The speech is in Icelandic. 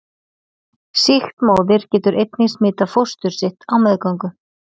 Sýkt móðir getur einnig smitað fóstur sitt á meðgöngu.